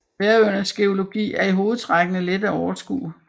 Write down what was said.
Færøernes geologi er i hovedtrækkene let at overskue